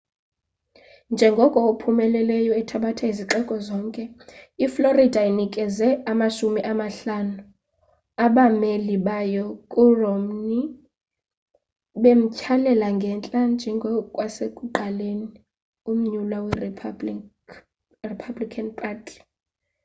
njengoko ophumelelayo ethabatha izixeko zonke i-florida inikeze amashumi amahlanu abameli bayo ku romney bemthyalela ngentla njengosekuqaleni umnyulwa we-republican party